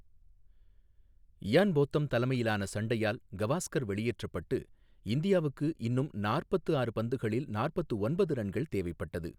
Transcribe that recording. Ian Botham தலைமையிலான சண்டையால் கவாஸ்கர் வெளியேற்றப்பட்டு, இந்தியாவுக்கு இன்னும் நாற்பத்து ஆறு பந்துகளில் நாற்பத்து ஒன்பது ரன்கள் தேவைப்பட்டது.